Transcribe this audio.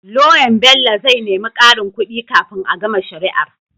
Loyan Bello zai nemi karin kudi kafin a gama shari'ar